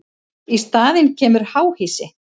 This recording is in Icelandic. Í staðinn kemur háhýsi.